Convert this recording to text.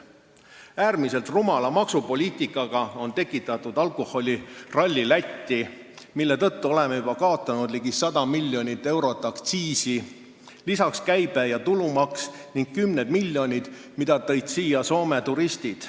Äärmiselt rumala maksupoliitikaga on tekitatud alkoholiralli Lätti, mille tõttu oleme kaotanud juba ligi 100 miljonit eurot aktsiisi, lisaks käibe- ja tulumaks ning kümned miljonid, mida varem jätsid siia Soome turistid.